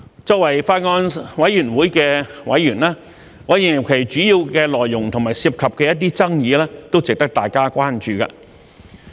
作為法案委員會的委員，我認為《條例草案》的主要內容和其涉及的一些爭議，都值得大家關注。